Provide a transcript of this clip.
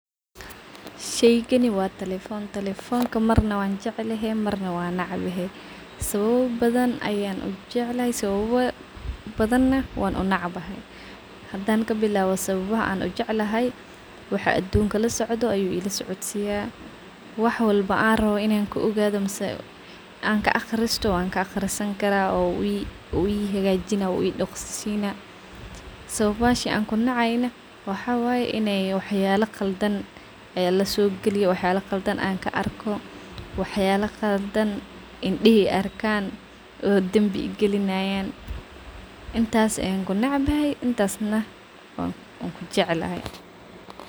Sheygani wa telefon, telefonka marna wanjeclehe marna wanecbehe, sababa badhan ayaan ujeclhy, sababa badhan wan u nebcahay, hadan kabilawo sababaha ujeclhy waxaa adunka lasocdho ayuu ilasocodsiyo, waxyaba rawo inaa radiyo awankelaah, waxaan kunebcahay waxyaba qaldan lasogaliyaah, indihi arkan dambi kugalayan, intas ayan kunebcahay intas na wankujeclhy.